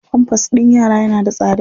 Pampers ɗin yara yana da tsada.